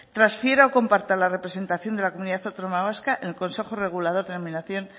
transfiera o comparta la representación de la comunidad autónoma vasca en el consejo regulador denominación